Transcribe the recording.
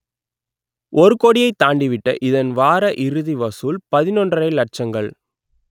ஒரு கோடியை தாண்டிவிட்ட இதன் வார இறுதி வசூல் பதினொன்றரை லட்சங்கள்